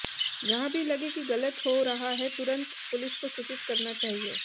जहाँ भी लगे कि गलत हो रहा है तुरन्त पुलिस को सूचित करना चाहिए